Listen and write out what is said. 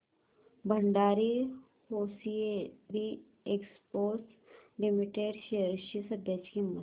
Bhandari hosiery exports limited shares ची सध्याची किंमत